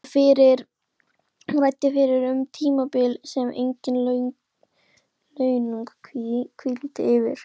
Hún ræddi fyrst um tímabil sem engin launung hvíldi yfir.